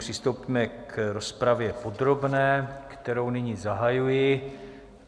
Přistoupíme k rozpravě podrobné, kterou nyní zahajuji.